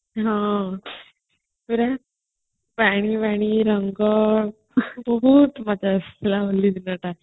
ହଁ ପୁରା ପାଣି ବାଣି ରଙ୍ଗ ବହୁତ ମଜା ଆସିଥିଲା ହୋଲି ଦିନଟା